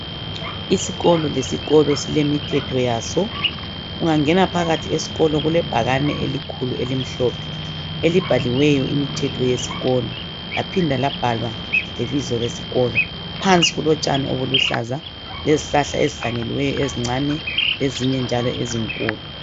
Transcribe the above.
Isikolo lesikolo sile mithetho yaso . Ungangena phakathi esikolo kule bhakane elikhulu elimhlophe elibhaliweyo imithetho yesikolo laphinda labhalwa lebizo lesikolo .Phansi kulotshani obuluhlaza lezihlahla ezihlanyeliweyo ezincani lezinye njalo ezinkulu .